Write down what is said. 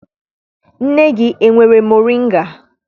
Nne gị enwere moringa?